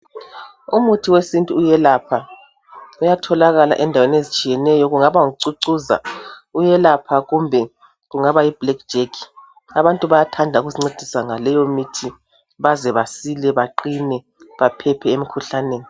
Umuthi wesintu uyelapha , uyatholakala endaweni ezitshiyeneyo Kungaba ngucucuza uyelapha kumbe kungaba yi black jack. Abantu bayathanda ukuzincedisa ngaleyo mithi baze basile baqine baphephe emikhuhlaneni.